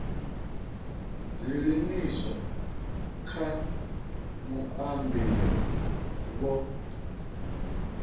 dzi livhiswa kha muambeli vho